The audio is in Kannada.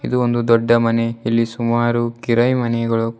ಇದು ಒಂದು ದೊಡ್ಡ ಮನೆ ಇಲ್ಲಿ ಸುಮಾರು ಕಿರೈ ಮನೆಗಳು--